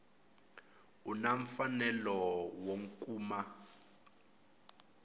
u na mfanelo wo kuma